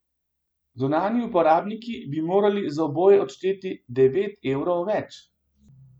Zunanji uporabniki bi morali za oboje odšteti devet evrov več.